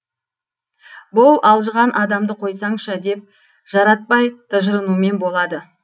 бұ алжыған адамды қойсаңшы деп жаратпай тыжырынумен болады